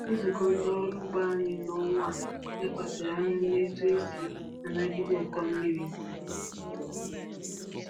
Nzukọ ndị ọrụ ugbo anyị n’ọnwa a lekwasịrị anya n’otú e si anagide ụkọ mmiri.